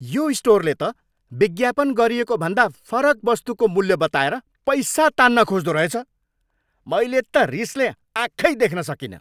यो स्टोरले त विज्ञापन गरिएको भन्दा फरक वस्तुको मूल्य बताएर पैसा तान्न खोज्दो रहेछ। मैले त रिसले आँखै देख्न सकिनँ।